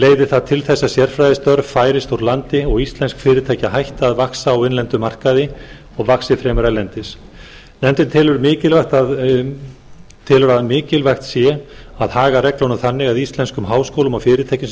leiði það til þess að sérfræðistörf færist úr landi og íslensk fyrirtæki hætti að vaxa á innlendum markaði og vaxi fremur erlendis nefndin telur að mikilvægt sé að haga reglunum þannig að íslenskum háskólum og fyrirtækjum sé